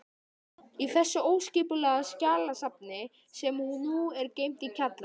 Í þessu óskipulega skjalasafni, sem nú er geymt í kjallara